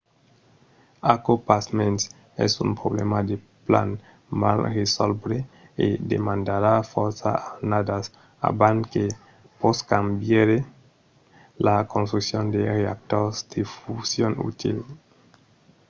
aquò pasmens es un problèma de plan mal resòlvre e demandarà fòrça annadas abans que poscam veire la construccion de reactors de fusion utils